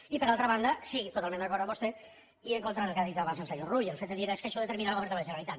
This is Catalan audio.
i per altra banda sí totalment d’acord amb vostè i en contra del que ha dit abans el senyor rull del fet de dir és que això ho determinarà el govern de la generalitat